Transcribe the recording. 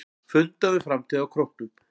Fundað um framtíð á Króknum